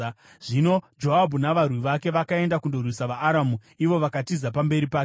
Zvino Joabhu navarwi vake vakaenda kundorwisa vaAramu, ivo vakatiza pamberi pake.